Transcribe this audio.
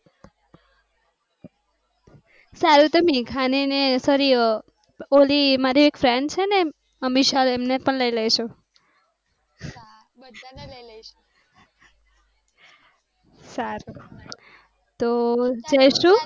સારું તમે ખાને સરી ઓલી મારી એક friend છેને અમિશા એમ ને પણ લઇ લઈશુ. સારું તો